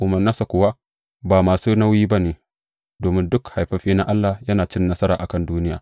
Umarnansa kuwa ba masu nauyi ba ne; domin duk haifaffe na Allah yana cin nasara a kan duniya.